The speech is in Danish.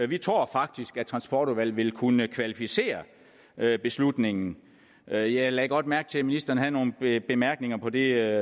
vi tror faktisk at transportudvalget vil kunne kvalificere beslutningen jeg jeg lagde godt mærke til at ministeren havde nogle bemærkninger på det